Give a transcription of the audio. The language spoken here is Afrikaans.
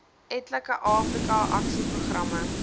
etlike afrika aksieprogramme